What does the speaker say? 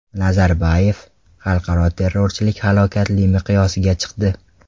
Nazarboyev: Xalqaro terrorchilik halokatli miqyosga chiqdi.